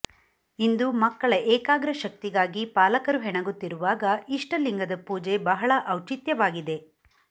ಇಂದು ಮಕ್ಕಳ ಏಕಾಗ್ರ ಶಕ್ತಿಿಗಾಗಿ ಪಾಲಕರು ಹೆಣಗುತ್ತಿಿರುವಾಗ ಇಷ್ಟಲಿಂಗದ ಪೂಜೆ ಬಹಳ ಔಚಿತ್ಯವಾಗಿದೆ